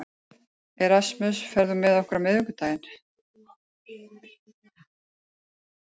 Erasmus, ferð þú með okkur á miðvikudaginn?